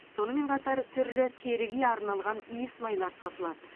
сонымен қатар түрлі теріге арналған иісмайлар сатылады